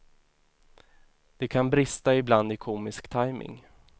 Det kan brista ibland i komisk tajming.